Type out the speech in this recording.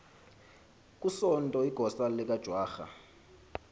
kusonto igosa likajwara